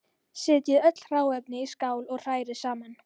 Setjið öll hráefnin í skál og hrærið saman.